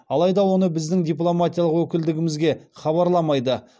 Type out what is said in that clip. алайда оны біздің дипломатиялық өкілдігімізге хабарламайды